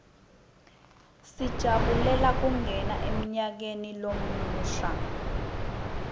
sijabulela kungena emnyakeni lomusha